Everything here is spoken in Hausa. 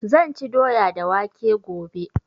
Zan ci doya da waƙe gobe